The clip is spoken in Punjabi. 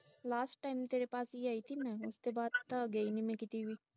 last time ਤੇਰੇ ਪਾਸ ਹੀ ਆਈ ਥੀ ਮੈਂ ਉਸਕੇ ਬਾਦ ਤਾਂ ਗਈ ਨਹੀਂ ਮੈਂ ਕਿਤੇ ਵੀ